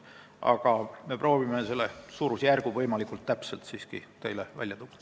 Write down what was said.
Aga me proovime siiski selle suurusjärgu teile võimalikult täpselt välja tuua.